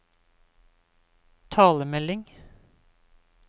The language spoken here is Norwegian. talemelding